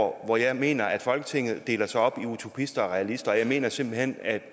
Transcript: hvor jeg mener at folketinget deler sig op i utopister og realister og jeg mener simpelt hen at